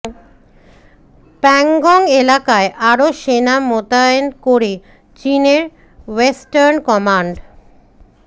প্যাংগং এলাকায় আরও সেনা মোতায়েন করে চিনের ওয়েস্টার্ন কমান্ড